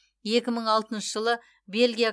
екі мың алтыншы жылы бельгия